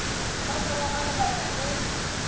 ka morago ga lebaka le